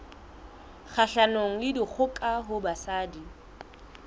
kgahlanong le dikgoka ho basadi